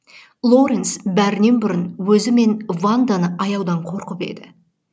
лоренс бәрінен бұрын өзі мен ванданы аяудан қорқып еді